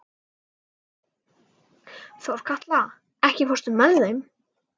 Þorkatla, ekki fórstu með þeim?